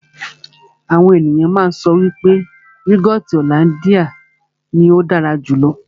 Àwọn ènìyàn má ń sọ wípé yúgọọ́ti hollandia ní ó dára jù lọ.